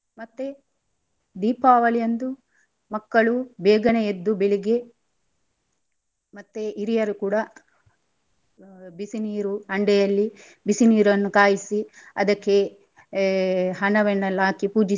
ಮತ್ತೆ ದೀಪಾವಳಿಯಂದು ಮಕ್ಕಳು ಬೇಗನೆ ಎದ್ದು ಬೆಳಿಗ್ಗೆ ಮತ್ತೆ ಹಿರಿಯರು ಕೂಡ ಆ ಬಿಸಿ ನೀರು ಹಂಡೆಯಲ್ಲಿ ಬಿಸಿ ನೀರನ್ನು ಕಾಯಿಸಿ ಅದಕ್ಕೆ ಏ ಹಣವನ್ನೆಲ್ಲ ಹಾಕಿ ಪೂಜಿಸಿ.